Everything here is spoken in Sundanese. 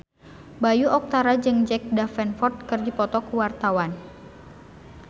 Bayu Octara jeung Jack Davenport keur dipoto ku wartawan